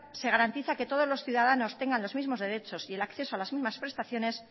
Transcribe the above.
se garantiza que todos los ciudadanos tengan los mismos derecho y el acceso a las mismas prestaciones